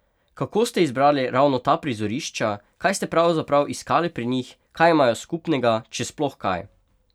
Kako ste izbrali ravno ta prizorišča, kaj ste pravzaprav iskali pri njih, kaj imajo skupnega, če sploh kaj?